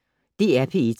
DR P1